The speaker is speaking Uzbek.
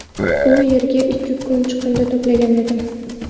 U yerga ikki kun chiqindi to‘plagan edim.